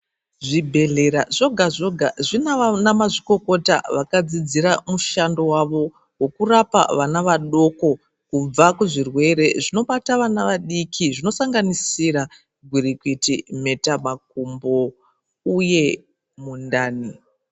Zvibhedhlera zvoga zvoga zvina ana mazvikokota akadzidzira mushando wavo wekurapa vana vadoko kubva kuzvirwere zvinobata vana vadiki zvinosanganisira gwirikwiti nheta makumbo uye mundani.